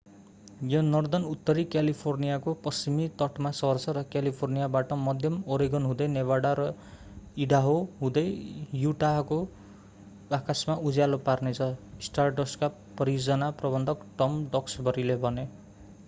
यो नर्धर्नउत्तरी क्यालिफोर्नियाको पश्चिमी तटमा सर्छ र क्यालिफोर्नियाबाट मध्य ओरेगन हुँदै नेभाडा र ईडाहो हुँदै युटाको आकाशमा उज्यालो पार्नेछ स्टारडस्टका परियोजना प्रबन्धक टम डक्सबरीले भने